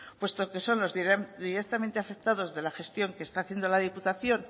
puesto que son los directamente afectados de la gestión que está haciendo la diputación